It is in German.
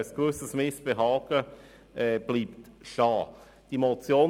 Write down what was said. Ein gewisses Missbehagen bleibt bestehen.